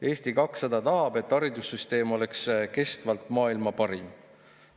Eesti 200 tahab, et haridussüsteem oleks kestvalt maailma parim.